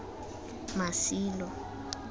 masilo